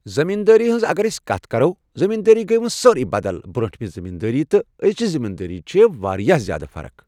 زٔمیٖن دٲری ہِنٛز اگر أسۍ کتھ کرو، زٔمیٖندٲری گٔیہ وٕنۍ سٲرٕے بدل برٛوٗنٹھمہِ زٔمیٖندٲری تہٕ أزۍچہِ زٔمیٖندٲری چھِ واریاہ زیٛادٕ فرق۔